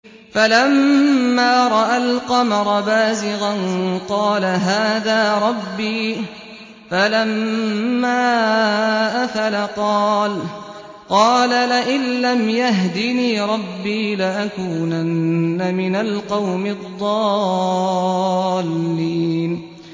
فَلَمَّا رَأَى الْقَمَرَ بَازِغًا قَالَ هَٰذَا رَبِّي ۖ فَلَمَّا أَفَلَ قَالَ لَئِن لَّمْ يَهْدِنِي رَبِّي لَأَكُونَنَّ مِنَ الْقَوْمِ الضَّالِّينَ